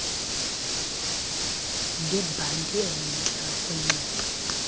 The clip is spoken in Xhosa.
ngebhanti entla kwenxeba